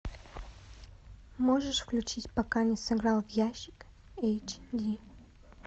можешь включить пока не сыграл в ящик эйч ди